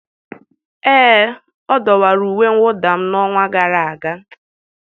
ee, ọ dọwara uwe mwụda m n'ọnwa gara aga